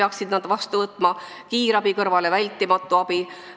Kiirabi kõrvale tuleb luua vältimatu abi.